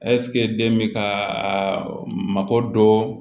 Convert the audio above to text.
den bɛ ka mako dɔ